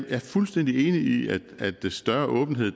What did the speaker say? er fuldstændig enig i at større åbenhed